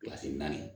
naani